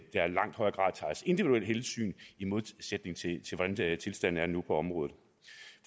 langt højere grad tages individuelle hensyn i modsætning til hvordan tilstanden på området